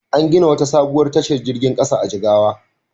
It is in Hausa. An gina wata sabuwar tashar jirgin ƙasa a Jigawa.